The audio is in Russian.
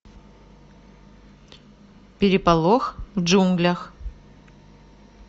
переполох в джунглях